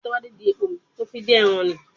Bẹ́ẹ̀ni, mò ń lọ gbọ́ àlọ́ ajẹmọ́ ìfẹ́.